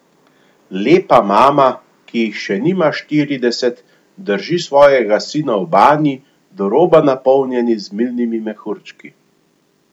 Lepa mama, ki jih še nima štirideset, drži svojega sina v banji, do roba napolnjeni z milnimi mehurčki.